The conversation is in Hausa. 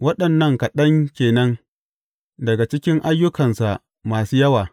Waɗannan kaɗan ke nan daga cikin ayyukansa masu yawa.